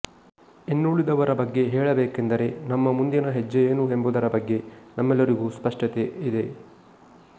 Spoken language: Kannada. ಇನ್ನುಳಿದವರ ಬಗ್ಗೆ ಹೇಳಬೇಕೆಂದರೆ ನಮ್ಮ ಮುಂದಿನ ಹೆಜ್ಜೆಯೇನು ಎಂಬುದರ ಬಗ್ಗೆ ನಮ್ಮೆಲ್ಲರಿಗೂ ಸ್ಪಷ್ಟತೆ ಇದೆ